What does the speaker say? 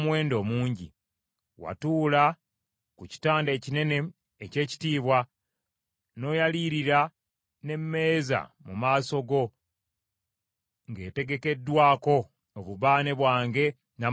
Watuula ku kitanda ekinene eky’ekitiibwa, n’oyalirira n’emmeeza mu maaso go ng’etegekeddwako obubaane bwange n’amafuta gange.